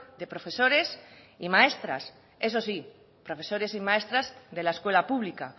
de profesores y maestras eso sí profesores y maestras de la escuela pública